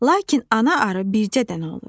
Lakin ana arı bircə dənədir.